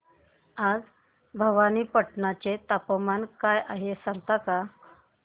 आज भवानीपटना चे तापमान काय आहे मला सांगता का